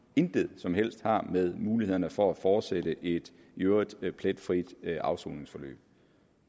intet som helst har med mulighederne for at fortsætte et i øvrigt pletfrit afsoningsforløb